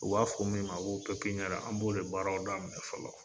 U b'a fɔ min ma ko kɛkiɲɛna an b'ole baaraw de daminɛ fɔlɔ.